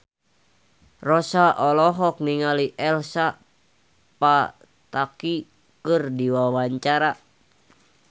Rossa olohok ningali Elsa Pataky keur diwawancara